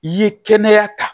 I ye kɛnɛya ta